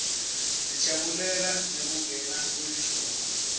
sijabulela nekungena kwelihlobo